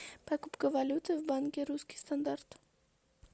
покупка валюты в банке русский стандарт